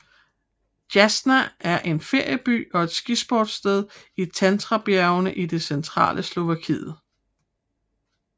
Jasná er en ferieby og et skisportssted i Tatrabjergene i det centrale Slovakiet